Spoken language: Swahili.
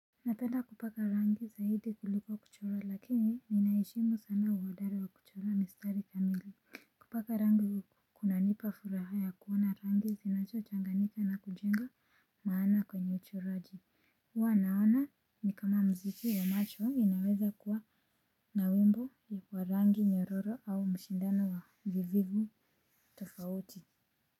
Napenda kupaka rangi zaidi kuliko kuchora lakini ninaheshimu sana uhodari wa kuchora mistari kamili. Kupaka rangi kuna nipa furaha ya kuona rangi zinacho changanika na kujenga maana kwenye uchoraji huwa naona ni kama mziki wa macho inaweza kuwa na wimbo ya kuwa rangi nyororo au mshindano wa vivivo tofauti.